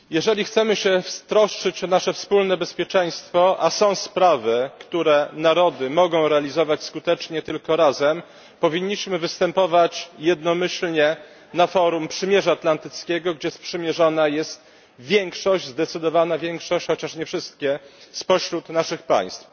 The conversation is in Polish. Pani Przewodnicząca! Jeżeli chcemy się troszczyć o nasze wspólne bezpieczeństwo a są sprawy, które narody mogą realizować skutecznie tylko razem powinniśmy występować jednomyślnie na forum Paktu Północno Atlantyckiego, gdzie sprzymierzona jest większość, zdecydowana większość, chociaż nie wszystkie spośród naszych państw.